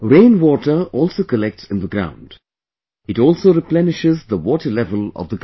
Rain water also collects in the ground, it also replenishes the water level of the ground